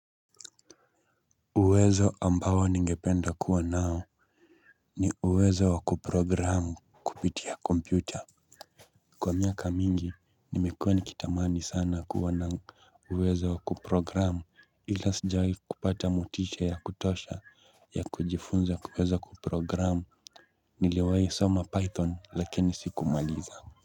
Uwezo ambao ningependa kuwa nao ni uwezo wa kuprogram kupitia kompyuta. Kwa miaka mingi, nimekuwa nikitamani sana kuwa na uwezo wakuprogram ila sijawahi kupata motisha ya kutosha ya kujifunza kuweza wakuprogram niliwahi soma python lakini siku maliza.